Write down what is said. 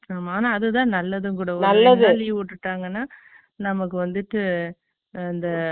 ஆமா, ஆனா, அதுதான் நல்லதும் கூட, நல்லது leave விட்டுட்டாங்கன்னா, நமக்கு வந்துட்டு, இந்த